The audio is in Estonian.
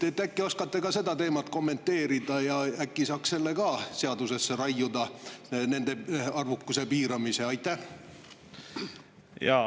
Äkki oskate ka seda teemat kommenteerida ja äkki saaks ka nende arvukuse piiramise seadusesse raiuda?